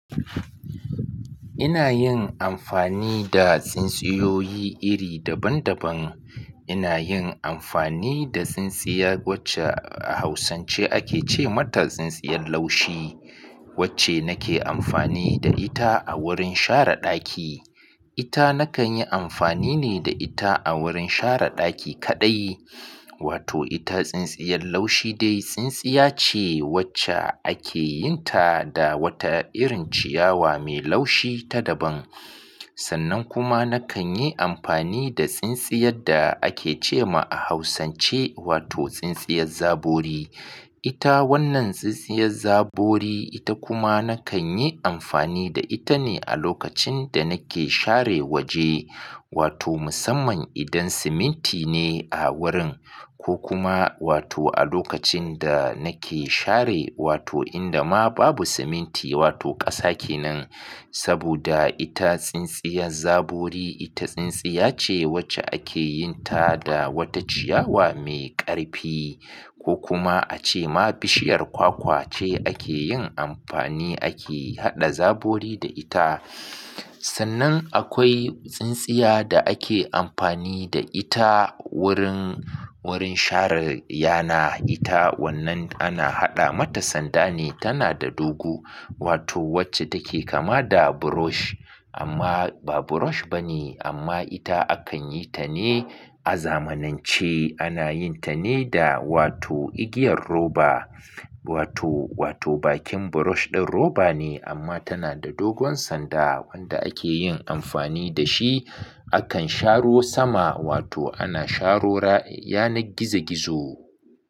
Ina yin amfani da tsintsiyoyi iri daban-daban. Ina yin amfani da tsintsiya wacce a Hausance ake ce mata tsintsiyar laushi, wacce nake amfani da ita a wurin share ɗaki. Ita nakan yi amfani ne da ita a wurin share ɗaki kaɗai. Wato ita tsintsiyar laushi dai tsintsiya ce wacce ake yin ta da wata irin ciyawa mai laushi ta daban. Sannan kuma nakan yi amfani da tsintsiyar da ake ce ma a Hausance, wato tsintsiyar zabori. Ita wannan tsintsiyar zabori, ita kuma nakan yi amfani da ita ne a lokacin da nake share waje. Wato musamman idan siminti ne a wurin ko kuma wato a lokacin da nake share wato inda ma babu siminti wato ƙasa kenan. Saboda ita tsintsiyar zabori, ita tsintsiya ce wacce ake yin ta da wata ciyawa mai ƙarfi ko kuma a ce ma bishiyar kwakwa ce ake yin amfani ake haɗa zabori da ita. Sannan akwai tsintsiya da ake amfani da ita wurin, wurin share yana. Ita wannan ana haɗa mata sanda ne tana da dogu. Wato wacce take kama da brush amma ba brush bane amma ita akan yi ta ne a zamanance ana yin ta ne da wato igiyar roba. Wato, wato bakin brush ɗin roba ne amma tana da dogon sanda wanda ake yin amfani da shi. Akan sharo sama wato ana sharora yanar gizo-gizo.